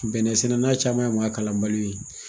Bɛnɛ sɛnɛna caman ye mɔgɔ kalan baliw ye,